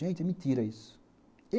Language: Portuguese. Gente, é mentira isso.